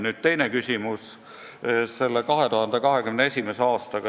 Nüüd teine küsimus, mis puudutas 2021. aastat.